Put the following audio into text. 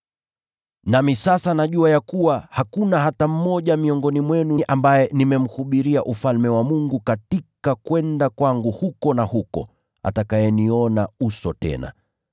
“Nami sasa najua ya kuwa hakuna hata mmoja miongoni mwenu ambaye nimemhubiria Ufalme wa Mungu katika kwenda kwangu huku na huko, atakayeniona uso tena.